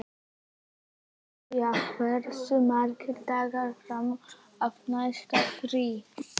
Gloría, hversu margir dagar fram að næsta fríi?